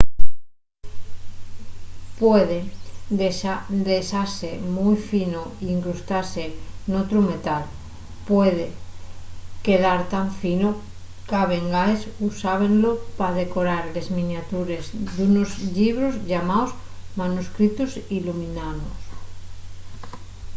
puede dexase mui fino y incrustase n'otru metal. puede quedar tan fino qu'a vegaes usábenlo pa decorar les miniatures d'unos llibros llamaos manuscritos illuminaos